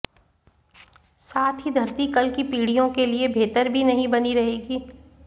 साथ ही धरती कल की पीढ़ियों के लिए बेहतर भी नहीं बनी रहेगी